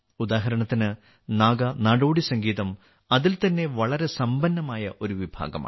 ഉദാഹരണത്തിന് നാഗ നാടോടി സംഗീതം അതിൽ തന്നെ വളരെ സമ്പന്നമായ ഒരു വിഭാഗമാണ്